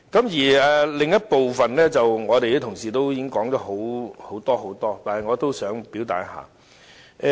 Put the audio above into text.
關於另一部分的修正案，我們的同事已經說了很多，但我也想表達一下意見。